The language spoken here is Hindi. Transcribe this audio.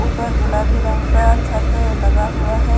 ऊपर गुलाबी रंग का छत लगा हुआ है।